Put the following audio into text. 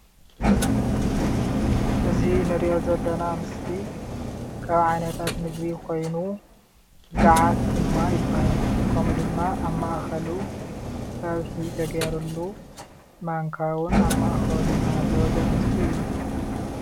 እዚ እንርእዮ ዘለና ምስሊ ካብ ዓይነታት ምግቢ ኮይኑ ጋዓት ድማ ይባሃል። ከምኡ ድማ ኣብ ማእከሉ ፀብሒ ተገይርሉ ማንካ እውን ኣብ ማእከሉ እናሃለወ ዘርኢ ምሰሊ እዩ።